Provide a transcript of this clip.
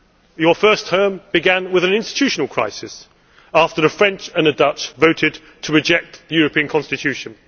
Your first term began with an institutional crisis, after the French and the Dutch voted to reject the European Constitution.